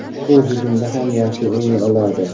U hujumda ham yaxshi o‘ynay oladi.